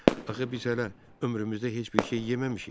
Axı biz hələ ömrümüzdə heç bir şey yeməmişik.